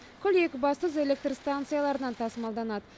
күл екібастұз электр станцияларынан тасымалданады